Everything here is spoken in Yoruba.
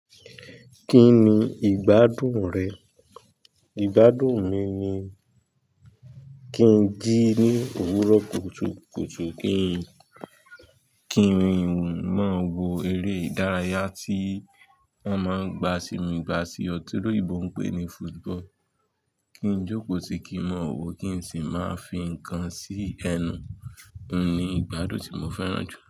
Kí ni ìgbádùn rẹ? Ìgbádùn mi ni kí n jí ní òwúrọ̀ kùtùkùtù, kí n rìn wù mọ́ wo eré ìdárayá tí wọ́n máa ń gba sínu ìgbà sí ọ tírò yìí bọ̀ ń pè ní football, kí n jókòó tí kì í mọ̀ wọ́ kí n sì máa fi ǹkan sí ẹnu. Óun ni ìgbádùn tí mo fẹ́ràn jù.